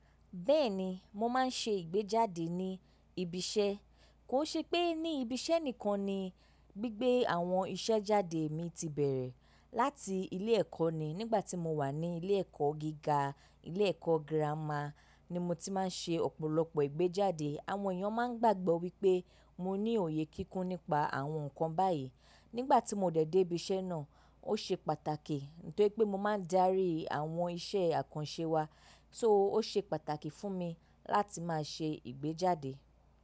Bẹ́ẹ̀ni mo máa ń ṣe ìgbéjáde ní ibi iṣẹ́, kò ṣe pé ní ibi iṣẹ́ nìkan ni, gbígbé àwọn iṣẹ́ jáde mi ti bẹ̀rẹ̀ láti ilé ẹ̀kọ́ ni. Nígbà tí mo wà ní ilé ẹ̀kọ́ gíga, ilé ẹ̀kọ́ gírámà ni mo ti máa ń ṣe ọ̀pọ̀lọpọ̀ ìgbéjáde. Àwọn èèyàn máa ń gbàgbọ́ wípé mo ní òye kíkún nípa àwọn nǹkan báyìí. Nígbà tí mo dẹ̀ de ibi iṣẹ́ náà, ó ṣe pàtàkì tóri pé mo máa ń darí àwọn iṣẹ́ àkànṣe wa so o ṣe pàtàkì fún mi láti máa ṣe ìgbéjáde.